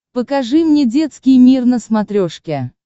покажи мне детский мир на смотрешке